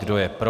Kdo je pro?